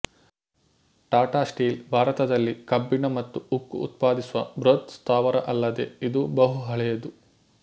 Tata Steel ಭಾರತದಲ್ಲಿ ಕಬ್ಬಿಣ ಮತ್ತು ಉಕ್ಕು ಉತ್ಪಾದಿಸುವ ಬೃಹತ್ ಸ್ಥಾವರ ಅಲ್ಲದೆ ಇದು ಬಹುಹಳೆಯದು